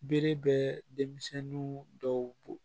Bere bɛ denmisɛnninw dɔw bɔ